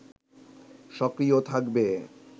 সক্রিয় থাকবে